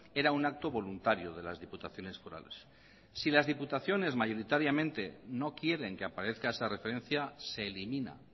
era un acto voluntario de las diputaciones forales si las diputaciones mayoritariamente no quieren que aparezca esa referencia se elimina